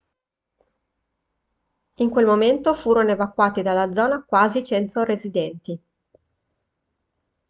in quel momento furono evacuati dalla zona quasi 100 residenti